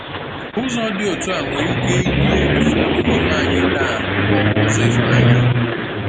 Ụzọ dị otu a nwere ike yie ụfọdụ n’ime anyị taa ka ọ bụ ụzọ ịhụnanya.